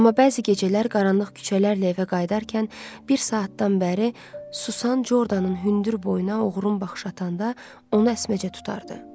Amma bəzi gecələr qaranlıq küçələrlə evə qayıdarkən bir saatdan bəri susan Jordanın hündür boynuna oğrun baxış atanda onu əsməcə tutardı.